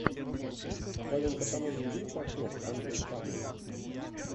в твоем каталоге есть актер андрей панин